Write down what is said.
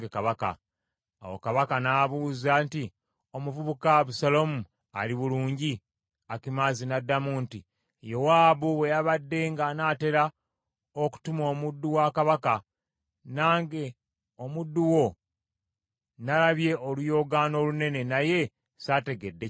Awo kabaka n’abuuza nti, “Omuvubuka Abusaalomu ali bulungi?” Akimaazi n’addamu nti, “Yowaabu bwe yabadde ng’anaatera okutuma omuddu wa kabaka, nange omuddu wo, nalabye oluyoogaano olunene, naye saategedde kyabadde wo.”